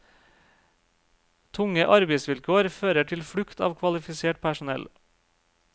Tunge arbeidsvilkår fører til flukt av kvalifisert personell.